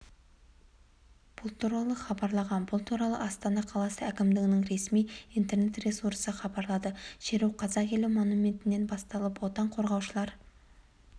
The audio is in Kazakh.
бұл туралы хабарлаған бұл туралыастана қаласы әкімдігінің ресми интернет-ресурсыхабарлады шеру қазақ елі монументінен басталып отан қорғаушылар